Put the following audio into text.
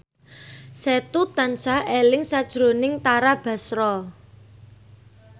Setu tansah eling sakjroning Tara Basro